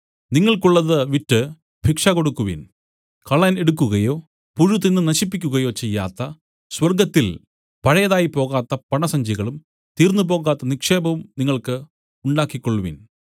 നിങ്ങൾക്കുള്ളത് വിറ്റ് ഭിക്ഷ കൊടുക്കുവിൻ കള്ളൻ എടുക്കുകയോ പുഴു തിന്നു നശിപ്പിക്കുകയോ ചെയ്യാത്ത സ്വർഗ്ഗത്തിൽ പഴയതായി പോകാത്ത പണസഞ്ചികളും തീർന്നുപോകാത്ത നിക്ഷേപവും നിങ്ങൾക്ക് ഉണ്ടാക്കിക്കൊൾവിൻ